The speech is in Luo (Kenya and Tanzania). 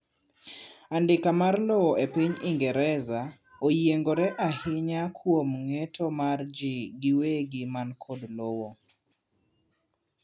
andika mar lowo e piny ingereza o yiengore ainya kuom ng'eto mar jii giwegi man kod lowo